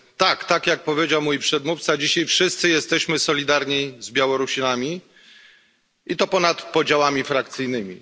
Tak jak powiedział mój przedmówca, dzisiaj wszyscy jesteśmy solidarni z Białorusinami, i to ponad podziałami frakcyjnymi.